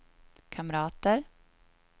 kamrater